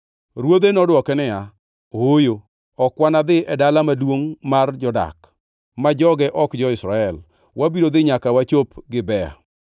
Ruodhe nodwoke niya, “Ooyo. Ok wanadhi e dala maduongʼ mar jodak, ma joge ok jo-Israel. Wabiro dhi nyaka wachop Gibea.”